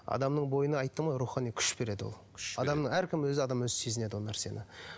адамның бойына айттым ғой рухани күш береді ол әркім өзі адам өзі сезінеді ол нәрсені